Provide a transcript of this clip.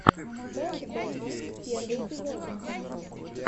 бэд бэби первый эпизод